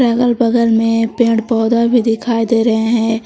अगल बगल में पेड़ पौधा भी दिखाई दे रहे हैं।